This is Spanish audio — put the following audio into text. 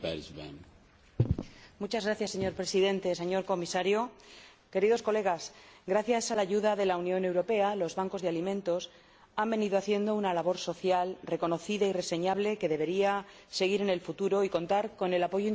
Señor Presidente, señor Comisario, queridos colegas, gracias a la ayuda de la Unión Europea, los bancos de alimentos han venido haciendo una labor social, reconocida y reseñable, que debería seguir en el futuro y contar con el apoyo indiscutible de este Parlamento.